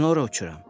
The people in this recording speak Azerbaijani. Mən ora uçuram.